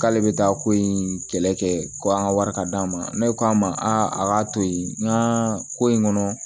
K'ale bɛ taa ko in kɛlɛ kɛ ko an ka wari ka d'a ma ne k'a ma a k'a to yen nga ko in kɔnɔ